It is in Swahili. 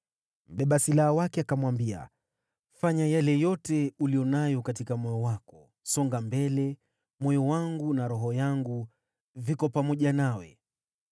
Mbeba silaha wake akamwambia, “Fanya yale yote uliyo nayo katika moyo wako. Songa mbele; moyo wangu na roho yangu viko pamoja nawe.”